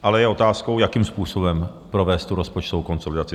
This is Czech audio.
Ale je otázkou, jakým způsobem provést tu rozpočtovou konsolidaci?